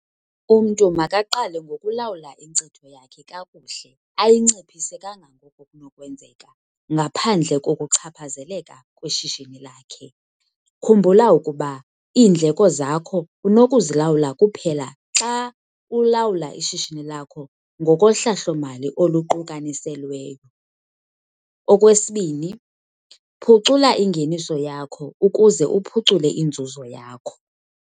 Umntu makaqale ngokulawula inkcitho yakhe kakuhle ayinciphise kangangoko kunokwenzeka ngaphandle kokuchaphazeleka kweshishini lakhe. Khumbula ukuba iindleko zakho unokuzilawula kuphela xa ulawula ishishini lakho ngokohlahlo-mali oluqukaniselweyo. Okwesibini, phucula ingeniso yakho ukuze uphucule inzuzo yakho.